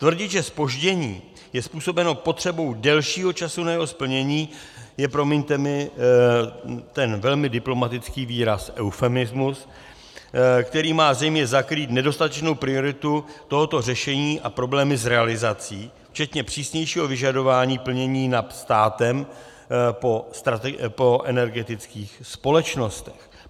Tvrdit, že zpoždění je způsobeno potřebou delšího času na jeho splnění, je, promiňte mi ten velmi diplomatický výraz, eufemismus, který má zřejmě zakrýt nedostatečnou prioritu tohoto řešení a problémy s realizací, včetně přísnějšího vyžadování plnění NAP státem po energetických společnostech.